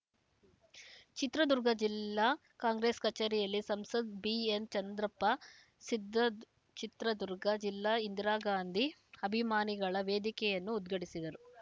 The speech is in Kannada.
ಚಿತ್ರದುರ್ಗ ಜಿಲ್ಲಾ ಕಾಂಗ್ರೆಸ್‌ ಕಚೇರಿಯಲ್ಲಿ ಸಂಸದ ಬಿಎನ್‌ಚಂದ್ರಪ್ಪ ಸಿದ್ದದ್ ಚಿತ್ರದುರ್ಗ ಜಿಲ್ಲಾ ಇಂದಿರಾಗಾಂಧಿ ಅಭಿಮಾನಿಗಳ ವೇದಿಕೆಯನ್ನು ಉದ್ಘಾಟಿಸಿದರು